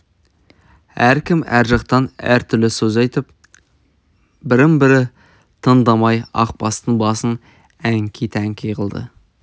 әркім әр жақтан әртүрлі сөз айтып бірін-бірі тыңдамай ақбастың басын әнкі-тәңкі қылды